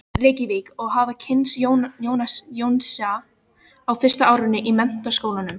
Reykjavík og hafa kynnst Jónasi á fyrsta árinu í Menntaskólanum.